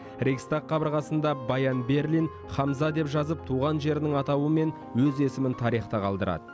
рейхстаг қабырғасында баян берлин хамза деп жазып туған жерінің атауы мен өз есімін тарихта қалдырады